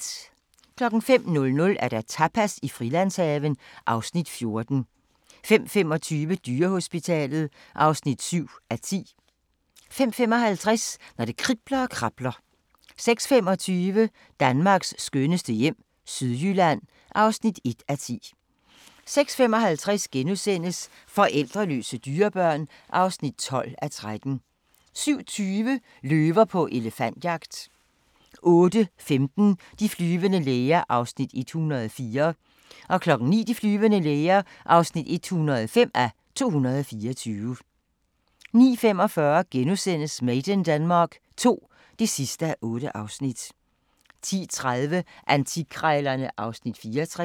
05:00: Tapas i Frilandshaven (Afs. 14) 05:25: Dyrehospitalet (7:10) 05:55: Når det kribler og krabler 06:25: Danmarks skønneste hjem - Sydjylland (1:10) 06:55: Forældreløse dyrebørn (12:13)* 07:20: Løver på elefantjagt 08:15: De flyvende læger (104:224) 09:00: De flyvende læger (105:224) 09:45: Made in Denmark II (8:8)* 10:30: Antikkrejlerne (Afs. 64)